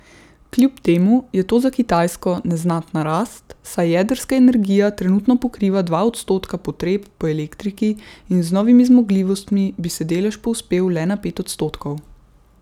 Kljub temu je to za Kitajsko neznatna rast, saj jedrska energija trenutno pokriva dva odstotka potreb po elektriki in z novimi zmogljivostmi bi se delež povzpel le na pet odstotkov.